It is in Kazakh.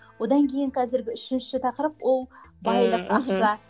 одан кейін қазіргі үшінші тақырып ол байлық ақша